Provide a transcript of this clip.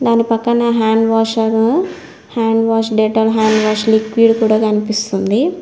దాని పక్కనె hand washer hand wash Dettol hand wash liquid కూడా కనిపిస్తుంది.